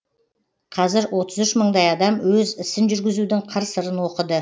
қазір отыз үш мыңдай адам өз ісін жүргізудің қыр сырын оқыды